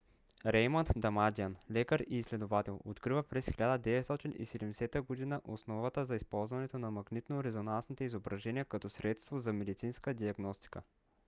реймънд дамадиан лекар и изследовател открива през 1970 година основата за използването на магнитно-резонансните изображения като средство за медицинска диагностика